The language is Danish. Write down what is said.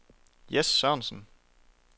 Jess Sørensen